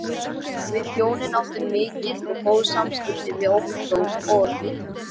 Við hjónin áttum mikil og góð samskipti við Ottó og